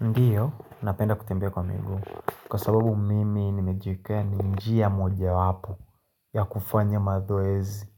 Ndiyo, napenda kutembea kwa miguu, kwa sababu mimi nimejiekea ni njia mojawapo ya kufanya mazoezi